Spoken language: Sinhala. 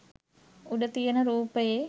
උඩ තියන රූපයේ